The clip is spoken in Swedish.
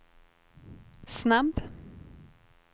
snabb